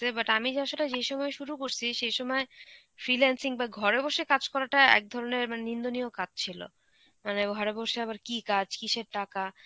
but আমি আসলে যে সময় শুরু করছি সেই সময় freelancing বাহঃ ঘরে বসে কাজ করাটা এক ধরনের মানে নিন্দনীয় কাজ ছিল. মানে ঘরে বসে আবার কী কাজ, কিসের টাকা?